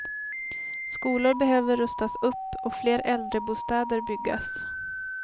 Skolor behöver rustas upp och fler äldrebostäder byggas.